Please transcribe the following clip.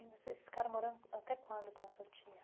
E vocês ficaram morando até quando com a sua tia?